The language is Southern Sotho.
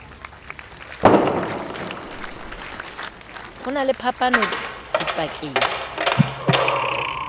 ho na le phapano dipakeng